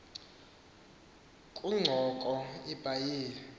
kungoko ibhayibhile isi